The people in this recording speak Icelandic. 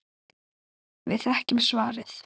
Við þekkjum svarið.